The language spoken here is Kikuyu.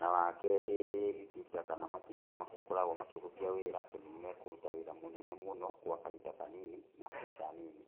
Na wakerĩ itinga kana matinga nĩmakoragwo makĩhũthia wĩra tondũ nĩmekũruta wĩra mũnene mũno gwa kahinda kanini na mbeca nini.